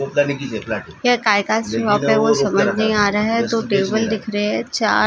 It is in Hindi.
समझ नहीं आ रहे दो टेबल दिख रहे हे चार चेयर दिख रहे हैं।